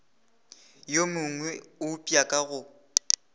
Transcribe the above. yo mongwe eupša ka go